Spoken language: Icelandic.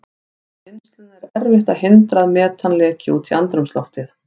Við vinnsluna er erfitt að hindra að metan leki út í andrúmsloftið.